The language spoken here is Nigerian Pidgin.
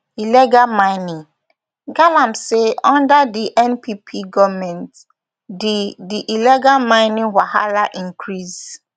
illegal mining galamseyunder di npp goment di di illegal mining wahala increase